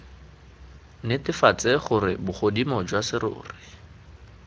netefatse gore bogodimo jwa serori